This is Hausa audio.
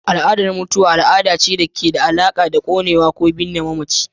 Al'adar mutuwa al'ada ce da ke da alaƙa da konewa ko binne mamaci.